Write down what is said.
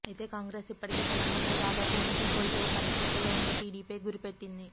అయితే కాంగ్రెస్ ఇప్పటికే తెలంగాణాలో దాదాపు ఉనికి కోల్పోయే పరిస్థితుల్లో ఉన్న టీడీపీ పై గురిపెట్టింది